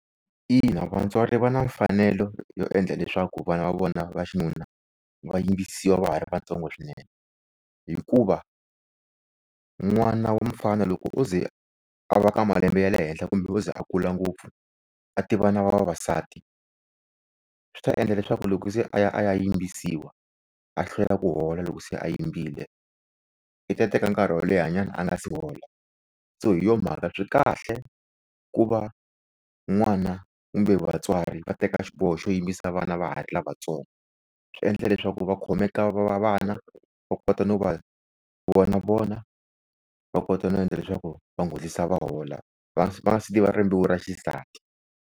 Ina vatswari va na mfanelo yo endla leswaku vana va vona va xinuna va yimbisiwa va ha ri vatsongo swinene. Hikuva n'wana wa mfana loko o ze a va ka malembe ya le henhla kumbe o ze a kula ngopfu a tiva na vavasati, swi ta endla leswaku loko se a ya a ya yimbisiwa a hlwela ku hola loko se a yimbile i ta teka nkarhi wo leha njhani a nga si hola, so hi yo mhaka swikahle ku va n'wana kumbe vatswari va teka xiboho xo yimbisa vana va ha ri vatsongo. Swi endla leswaku va khomeka va vana va kota no va vona vona, va kota no endla leswaku va ngetlisa va hola va swi tiva rimbewu ra xisati.